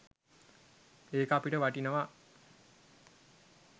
ඒක අපිට වටිනවා.